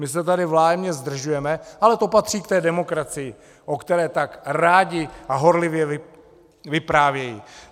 My se tady vzájemně zdržujeme, ale to patří k té demokracii, o které tak rádi a horlivě vyprávějí.